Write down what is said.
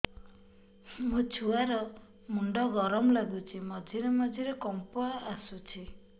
ମୋ ଛୁଆ ର ମୁଣ୍ଡ ଗରମ ଲାଗୁଚି ମଝିରେ ମଝିରେ କମ୍ପ ଆସୁଛି